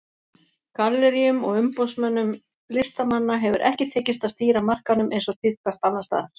Galleríum og umboðsmönnum listamanna hefur ekki tekist að stýra markaðnum eins og tíðkast annars staðar.